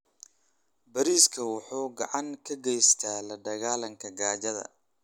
Bariiska wuxuu gacan ka geystaa la dagaallanka gaajada.